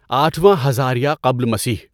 آٹھواں ہزاریہ قبل مسیح